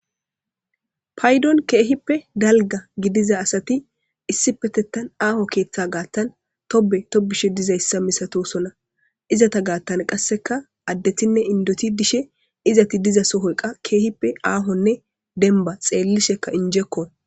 Paydon keehippe dalgga gidiza asathi issipetheththan aaho keeththaa gaththan thobbe thobbishe dizayssa misathoosona; izatha gaaththan qassika addethinne inddothi dishe izathi diza sohoy qa keehippe aahonne dembba; xeellishekka injjekoo.